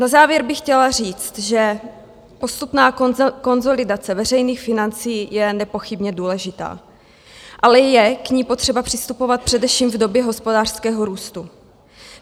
Na závěr bych chtěla říct, že postupná konsolidace veřejných financí je nepochybně důležitá, ale je k ní potřeba přistupovat především v době hospodářského růstu.